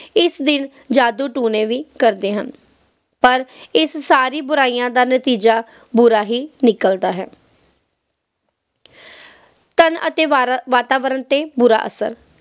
ਇਸ ਦਿਨ ਜਾਦੂ ਟੂਣੇ ਵੀ ਕਰਦੇ ਹਨ ਪਰ ਇਸ ਸਾਰੀ ਬੁਰਾਈਆਂ ਦਾ ਨਤੀਜਾ ਬੁਰਾ ਹੀ ਨਿਕਲਦਾ ਹੈ ਧਨ ਅਤੇ ਵਾਤਾਵਰਨ ਤੇ ਬੁਰਾ ਅਸਰ